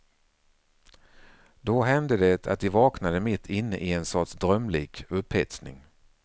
Då hände det att de vaknade mitt inne i en sorts drömlik upphetsning.